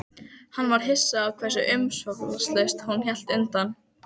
Hann varð hissa á því hversu umsvifalaust hún lét undan.